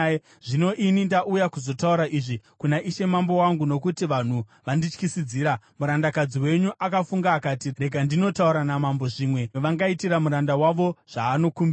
“Zvino ini ndauya kuzotaura izvi kuna ishe mambo wangu nokuti vanhu vandityisidzira. Murandakadzi wenyu akafunga akati, ‘Rega ndinotaura namambo zvimwe vangaitira muranda wavo zvaanokumbira.